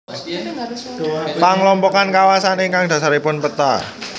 Panglompokan kawasan ingkang dhasaripun peta